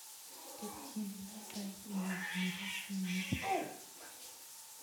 Ketyin nabait nguk nebo simet